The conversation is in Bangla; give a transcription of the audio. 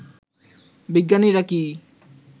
বিজ্ঞানীরা কি